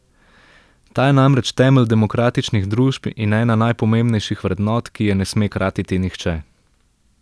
Ta je namreč temelj demokratičnih družb in ena najpomembnejših vrednot, ki je ne sme kratiti nihče.